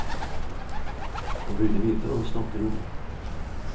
Han burde vite hva han snakker om.